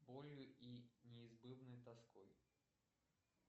болью и неизбывной тоской